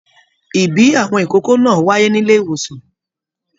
Ìbí àwọn ìkókó náà wáyé nílé ìwòsàn.